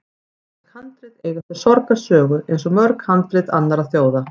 Íslensk handrit eiga sér sorgarsögu, eins og mörg handrit annarra þjóða.